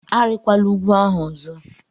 Arịkwala ugwu ahụ ọzọ!